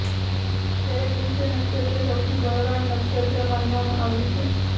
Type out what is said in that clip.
જ્યારે પુષ્ય નક્ષત્ર સૌથી બળવાન નક્ષત્ર માનવામાં આવ્યું છે